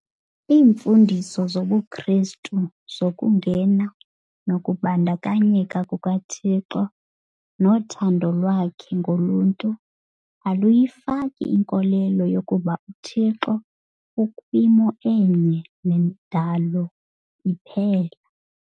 Iimfundiso zobuKristu zokungena nokubandakanyeka kukaThixo nothando lwakhe ngoluntu aluyifaki inkolelo yokuba uThixo ukwimo enye nendalo iphela.